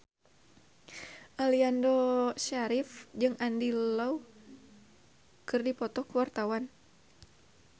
Aliando Syarif jeung Andy Lau keur dipoto ku wartawan